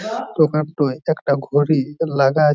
দোকানটায় একটা ঘড়ি লাগা--